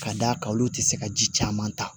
Ka d'a kan olu tɛ se ka ji caman ta